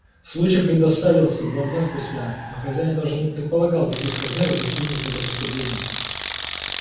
случай предоставился два дня спустя но хозяин даже не предполагал каких размеров достигнет это преступление